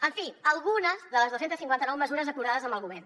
en fi algunes de les dos cents i cinquanta nou mesures acordades amb el govern